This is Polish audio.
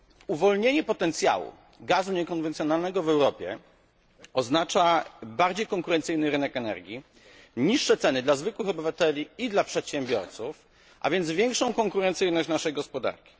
Uwolnienie potencjału gazu niekonwencjonalnego w Europie oznacza bardziej konkurencyjny rynek energii, niższe ceny dla zwykłych obywateli i dla przedsiębiorców, a więc większą konkurencyjność naszej gospodarki.